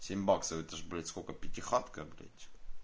семь баксов это ж блять сколько пятихатка блять